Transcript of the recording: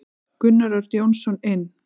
Gunnar Örn Jónsson inn.